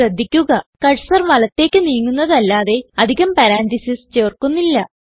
ശ്രദ്ധിക്കുക കർസർ വലത്തേക്ക് നീങ്ങുന്നതല്ലാതെ അധികം പരന്തസിസ് ചേർക്കുന്നില്ല